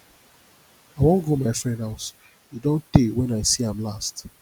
i wan go my friend house e don tey wen i see am last